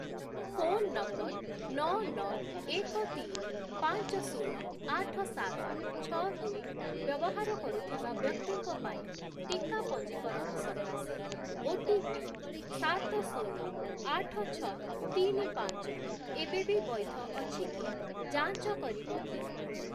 Phone number ନଅ, ନଅ, ଏକ, ତିନି, ପାଞ୍ଚ, ଶୂନ, ଆଠ, ସାତ, ଛଅ, ଦୁଇ ବ୍ୟବହାର କରୁଥିବା ବ୍ୟକ୍ତିଙ୍କ ପାଇଁ ଟିକା ପଞ୍ଜୀକରଣ ସକାଶେ ଓଟିପି ସାତ, ଶୂନ, ଆଠ, ଛଅ, ତିନି, ପାଞ୍ଚ ଏବେବି ବୈଧ ଅଛି କି ଯାଞ୍ଚ କରିବ କି?